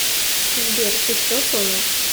сбер ты все понял